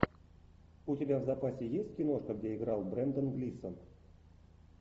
у тебя в запасе есть киношка где играл брендан глисон